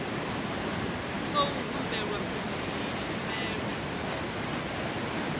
khou humbulelwa uri iyi tshumelo